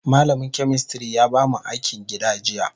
Malamin chemistry ya bamu akin gida jiya.